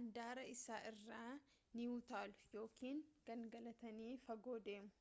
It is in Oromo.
andaara isaa irraa ni utaalu yookaan gangalatanii fagoo deemu